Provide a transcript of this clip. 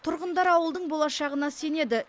тұрғындар ауылдың болашағына сенеді